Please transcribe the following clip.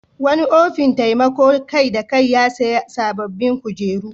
Wani ofin taimakon kai-da-kai ya sayi sabbin kujeru.